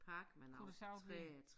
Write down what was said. Kunne det sagtens være